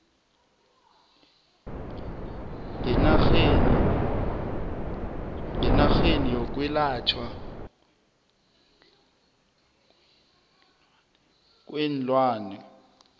ngenarheni yokwelatjhwa kweenlwana